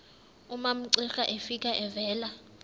umamcira efika evela